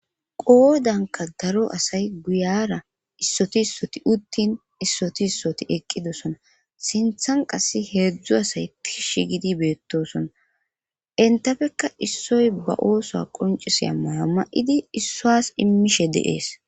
Qoodanka daro asay guyara issoti issoti uttin issoti issoti eqqidosona sinthan qasse heedzdzu asay kishi gidi beettosona entafekka issoy ba oosoa qonciseya maya ma7idi issoas immishe deees.